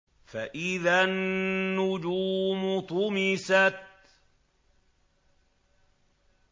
فَإِذَا النُّجُومُ طُمِسَتْ